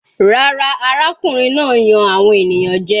Rárá, arákùnrin náà ń yan àwọn ènìyàn jẹ.